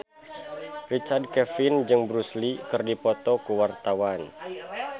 Richard Kevin jeung Bruce Lee keur dipoto ku wartawan